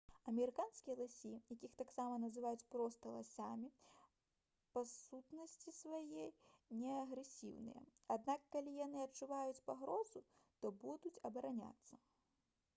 амерыканскія ласі якіх таксама называюць проста ласямі па сутнасці сваёй не агрэсіўныя аднак калі яны адчуюць пагрозу то будуць абараняцца